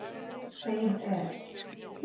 Þeim er